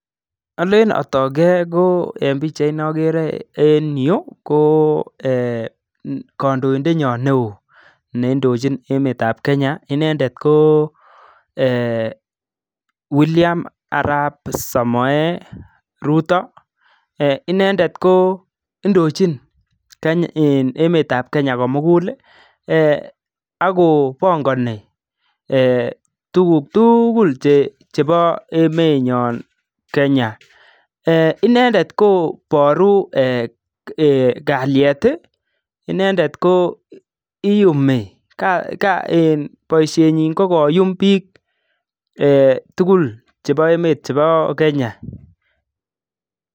alen atok ee ko eng' pichait neagere en yu ko kandoindetnyo neoo neindochin emet ap kenya, inendet ko William arap samoei ruto. inendet ko indochin emet ap kenya ko mugul akopangani tuguk tugul chebo emet nyon Kenya. inendet kobooru ee kalyet, inendet koyumi, boisiet nyi ko koyum biik tugul chebo emet chebo Kenya